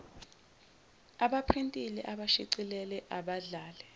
abaprintile abashicilele abadlale